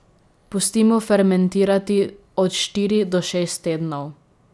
Pustimo fermentirati od štiri do šest tednov.